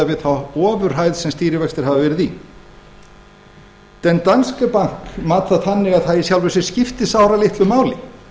við þá ofurhæð sem stýrivextir hafa verið í den danske bank mat það þannig að það í sjálfu sér skipti sáralitlu máli